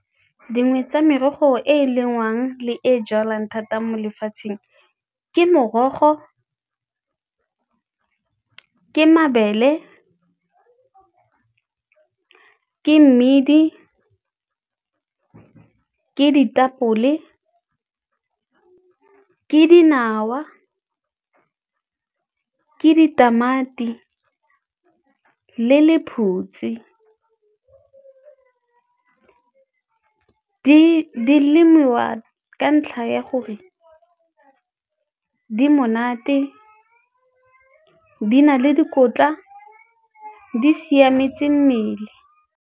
Dingwe tsa merogo e e lengwang le e e jalwang thata mo lefatsheng ke morogo, ke mabele, ke mmidi, ke ditapole, ke dinawa, ke ditamati le lephutsi. Di lemiwa ka ntlha ya gore di monate, di na le dikotla, di siametse mmele.